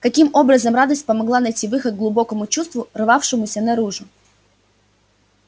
каким образом радость помогла найти выход глубокому чувству рвавшемуся наружу